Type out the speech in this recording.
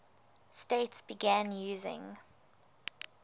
states began using